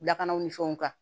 Lakanaw ni fɛnw kan